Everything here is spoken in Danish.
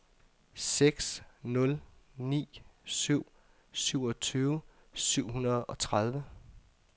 seks nul ni syv syvogtyve syv hundrede og tredive